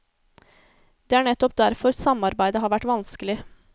Det er nettopp derfor samarbeidet har vært vanskelig.